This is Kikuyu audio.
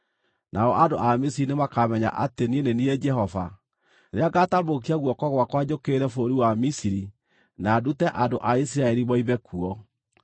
Nao andũ a Misiri nĩmakamenya atĩ niĩ nĩ niĩ Jehova, rĩrĩa ngataambũrũkia guoko gwakwa njũkĩrĩre bũrũri wa Misiri na ndute andũ a Isiraeli moime kuo.”